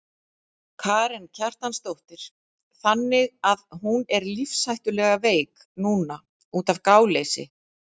Karen Kjartansdóttir: Þannig að hún er lífshættulega veik núna útaf gáleysi?